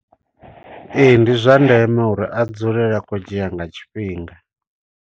Ee, ndi zwa ndeme uri a dzulele akhou dzhia nga tshifhinga.